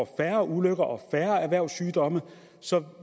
færre ulykker og færre erhvervssygdomme